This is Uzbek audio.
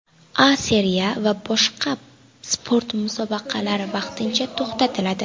A Seriya va barcha sport musobaqalari vaqtincha to‘xtatiladi.